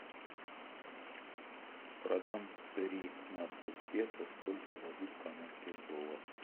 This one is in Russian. продам тринадцать песо сколько дадут канадских долларов